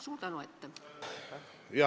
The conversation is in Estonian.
Suur tänu ette!